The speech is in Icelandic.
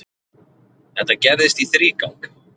Þetta gerðist í þrígang.